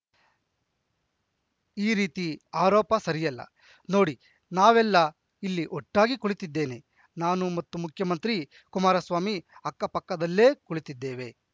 ಈ ರೀತಿಯ ಆರೋಪ ಸರಿಯಲ್ಲ ನೋಡಿ ನಾವೆಲ್ಲ ಇಲ್ಲಿ ಒಟ್ಟಾಗಿ ಕುಳಿತಿದ್ದೇನೆ ನಾನು ಮತ್ತು ಮುಖ್ಯಮಂತ್ರಿ ಕುಮಾರಸ್ವಾಮಿ ಅಕ್ಕಪಕ್ಕದಲ್ಲೇ ಕುಳಿತಿದ್ದೇವೆ